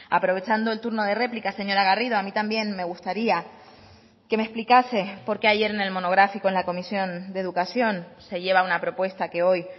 aprovechando el turno de réplica señora garrido a mí también me gustaría que me explicase por qué ayer en el monográfico en la comisión de educación se lleva una propuesta que hoy